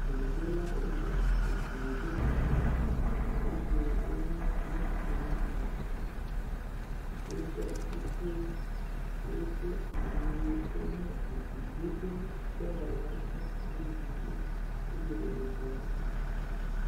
Egliɖolawo le egli ɖom eye wonye ŋutsu woame etɔ̃, woɖɔ kukuwo, wodo awuwo ke nye egliɖoɖo dɔwɔlawo ƒe awuwo eye wole edɔa wɔm.